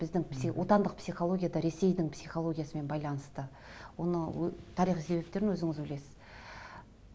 біздің отандық психология да ресейдің психологиясымен байланысты оның тарихи себептерін өзіңіз білесіз